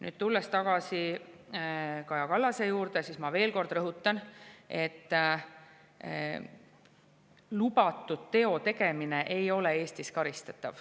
Nüüd, tulles tagasi Kaja Kallase teema juurde, ma veel kord rõhutan, et lubatud teo tegemine ei ole Eestis karistatav.